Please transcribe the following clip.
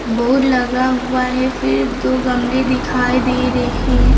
Board लगा हुआ है फिर दो गमले दिखाई दे रहे हैं।